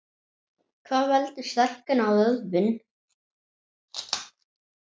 Hvað veldur stækkun á vöðvum?